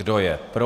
Kdo je pro?